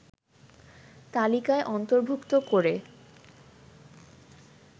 তালিকায় অন্তর্ভুক্ত করে